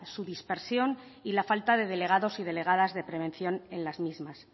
su dispersión y la falta de delegados y delegadas de prevención en las mismas